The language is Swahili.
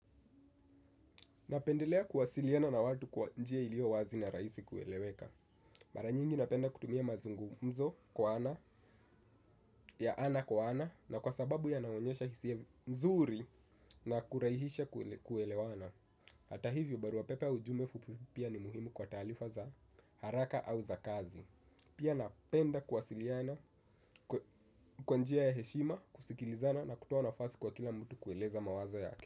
Napendelea kuwasiliana na watu kwa njia ilio wazi na rahisi kueleweka. Mara nyingi napenda kutumia mazungumzo kwa ana ya ana kwa ana. Na kwa sababu yanaonyesha hisia mzuri na kuraihisha kuelewana. Hata hivyo barua pepe au ujumbe fupi ni muhimu kwa taarifa za haraka au za kazi. Pia napenda kuwasiliana kwa njia ya heshima, kusikilizana na kutoa nafasi kwa kila mtu kueleza mawazo yake.